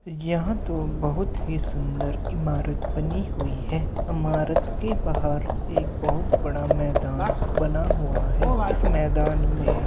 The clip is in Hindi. यह तो बहोत ही सुंदर इमारत बनी हुई हैं। इमारत के बाहर एक बहोत बड़ा मैदान बना हुआ है इस मैदान में --